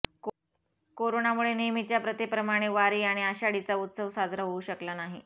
कोरोनामुळे नेहमीच्या प्रथेप्रमाणे वारी आणि आषाढीचा उत्सव साजरा होऊ शकला नाही